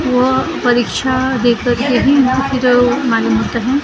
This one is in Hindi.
वह परीक्षा दे करके हि फिर मालूम होता है ।